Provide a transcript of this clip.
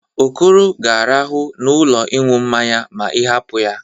Okoro ga-arahụ n'ụlọ ịñụ mmanya ma ị hapụ ya.